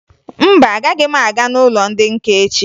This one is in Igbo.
Mba, agaghị m aga n'ụlọ ndị nka echi